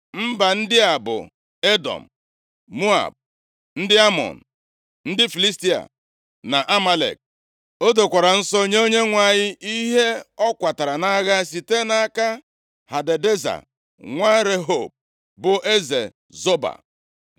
Mba ndị a bụ: Edọm, Moab, ndị Amọn, ndị Filistia na Amalek. O dokwara nsọ nye Onyenwe anyị ihe ọ kwatara nʼagha site nʼaka Hadadeza nwa Rehob, bụ eze Zoba.